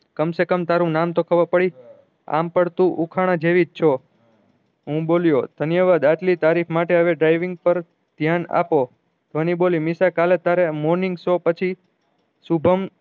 કામ સે કામ તારું નામ તો ખબર પડી આમ પડતું ઉખાણા જેવી જ છો હું બોલ્યો ધન્નેવાદ આટલી તારીફ માટે હવે driving પર ધ્યાન આપો ધ્વની બોલી નિશા કાલે તારે morning show પછી શુભમ